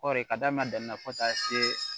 Kɔɔri ka daminɛ daminɛ fo ka taa se